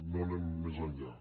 no anem més enllà